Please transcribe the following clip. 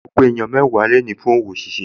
Mo pe èèyàn mẹ́wàá lónìí fún òwò ṣíṣe